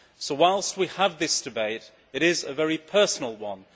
So, whilst we have this debate, it is a very personal one.